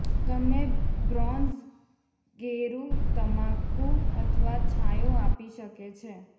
તમે બ્રોન્ઝ ગેરુ તમાકુ અથવા છાંયો આપી શકે છે